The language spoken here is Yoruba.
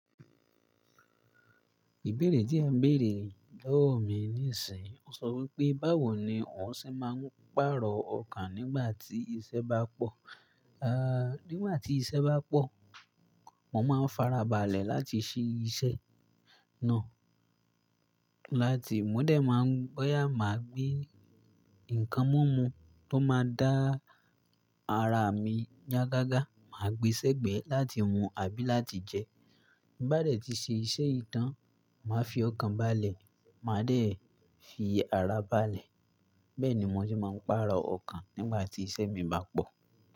Ìbéèrè tí a béèrè lọ́wọ́ mi níìsín, ó sọ wípé báwo ni òun ṣe máa ń pààrọ̀ ọkàn nígbà tí iṣẹ́ bá pọ̀. Aaa, nígbà tí iṣẹ́ bá pọ̀, mo máa ń farabalẹ̀ láti ṣí iṣẹ́ náà. Lati múdẹ̀ máa ń bọ́yà, màá gbe nǹkan mímú tó máa dá ara mi yá gágá, màá gbin sẹ́gbẹ̀ẹ́ láti mu àbí láti jẹ. Bá dẹ̀ tí ṣe iṣẹ́ yii tàn, màá fi ọkàn balẹ̀, màá dẹ̀ fi ara balẹ̀. Bẹ́ẹ̀ ni mo ṣe máa ń pààrọ̀ ọkàn nígbà tí iṣẹ́ mi bá pọ̀.